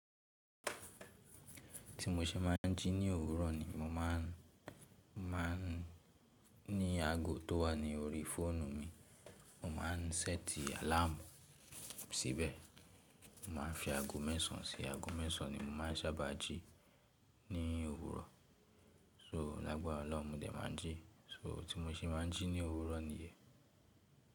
Tí mo ṣe máa ń jí ní òwúrọ̀ ni mo máà ń, máa ń ní ago tó wà ní orí fóònù mi, mo máà ń séètì àláàmù síbẹ̀. Mo máa ń fi ago mẹ́sàn án sí í. Ago mẹ́sàn án ni mo máa ń sábà jí ní òwúrọ̀. So lágbára Ọlọ́run mo dè máa ń jí. So tí mo ṣe máa ń jí ní òwúrọ̀ nìyẹn.